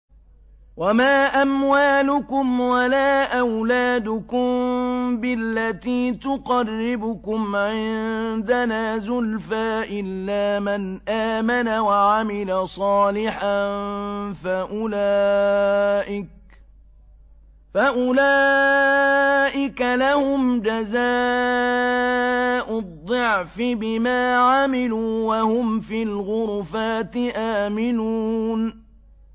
وَمَا أَمْوَالُكُمْ وَلَا أَوْلَادُكُم بِالَّتِي تُقَرِّبُكُمْ عِندَنَا زُلْفَىٰ إِلَّا مَنْ آمَنَ وَعَمِلَ صَالِحًا فَأُولَٰئِكَ لَهُمْ جَزَاءُ الضِّعْفِ بِمَا عَمِلُوا وَهُمْ فِي الْغُرُفَاتِ آمِنُونَ